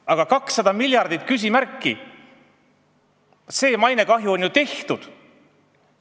Aga 200 miljardit küsimärgi all – see mainekahju on ju tehtud!